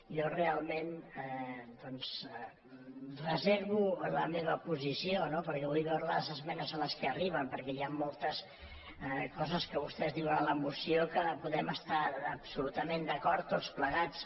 jo realment reservo la meva posició no perquè vull veure les es·menes a les quals arriben perquè hi ha moltes coses que vostès diuen a la moció que hi podem estar abso·lutament d’acord tots plegats